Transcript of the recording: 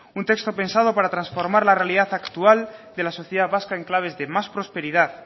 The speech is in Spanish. un texto pensado para transformar la realidad actual de la sociedad vasca en claves de más prosperidad